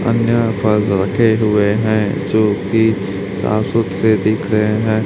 कन्या पर लरके हुए है जोकि अ सुख से दिख रहे है।